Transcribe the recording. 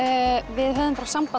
við höfðum samband